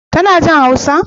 Tana jin Hausa?